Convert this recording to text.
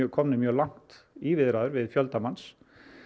komnir mjög langt í viðræðum við fjölda manns